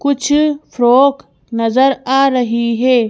कुछ फ्रॉक नजर आ रही है।